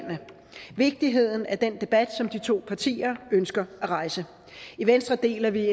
vigtigheden af den debat som de to partier ønsker at rejse i venstre deler vi